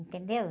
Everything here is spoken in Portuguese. Entendeu?